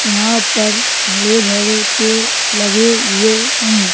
यहां पर हरे भरे पेड़ लगे हुए हैं।